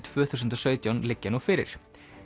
tvö þúsund og sautján liggja nú fyrir